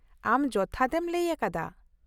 ᱟᱢ ᱡᱚᱛᱷᱟᱛ ᱮᱢ ᱞᱟᱹᱭ ᱟᱠᱟᱫᱟ ᱾